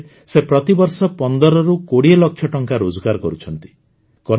ଏହି କାମରେ ସେ ପ୍ରତିବର୍ଷ ୧୫ରୁ ୨୦ ଲକ୍ଷ ଟଙ୍କା ରୋଜଗାର କରୁଛନ୍ତି